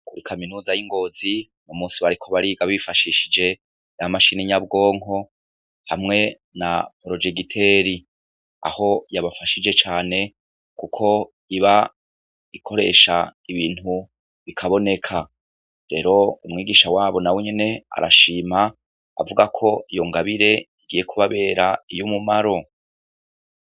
Kuri kaminuza y'i Ngozi uyu musi bariko bariga bifashishije ya mashini nyabwonko hamwe na porojegiteri aho yabafashije cane kuko iba ikoresha ibintu bikaboneka, rero umwigisha wabo nawe nyene arashima avuga ko iyo ngabire igiye kubabera iy'umumaro.